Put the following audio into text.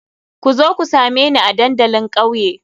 Ku zo ku same ni a dandalin kauye.